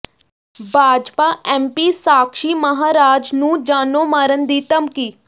Bhajpa MP Sakshi Maharaj ਨੂੰ ਜਾਨੋਂ ਮਾਰਨ ਦੀ ਧਮਕੀ